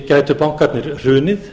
gætu bankarnir hrunið